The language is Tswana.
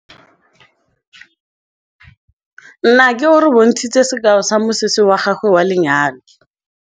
Nnake o re bontshitse sekaô sa mosese wa gagwe wa lenyalo.